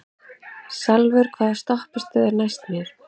Salvör, hvaða stoppistöð er næst mér?